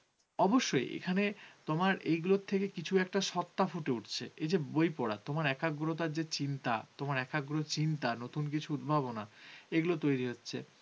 অবশ্যই এখানে তোমার এগুলো থেকে কিছু একটা সত্তা ফুটে উঠছে। এ যে বই পড়া তোমার একাগ্রতার যে চিন্তা তোমার একাগ্র চিন্তা, নতুন কিছু উদ্ভাবনা এগুলো তৈরি হচ্ছে।